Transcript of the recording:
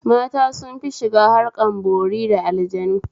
Mata sunfi shiga harkan bori da aljannu